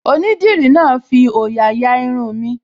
Onídìrí náà fi òyà ya Irun mi